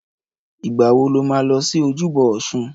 Ìgbà wo lo ma lọ sí ojúbọ Ọsun?